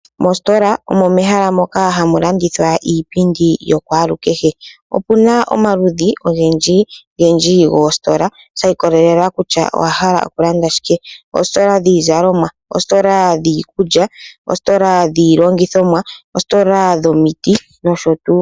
Moositola omo mehala moka hamu landithwa iipindi yakwalukehe. Opu na omaludhi ogendjigendji goositola sha ikololela kutya owa hala oku landa shike. Oositola dhiizalomwa, oositola dhiikulya, oositola dhiilongithomwa, oositola dhomiti nosho tuu.